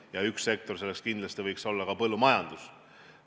Üks selline sektor võiks kindlasti olla põllumajandus.